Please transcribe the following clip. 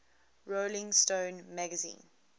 rolling stone magazine